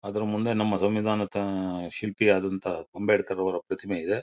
ಅದ್ರ್ ಮುಂದೆ ನಮ್ಮ ಸಂಮಿದಾನದ ಅಹ್ ಶಿಲ್ಪಿ ಆದಂತ ಅಂಬೇಡ್ಕರ್ ಅವರ ಪ್ರತಿಮೆ ಇದೆ.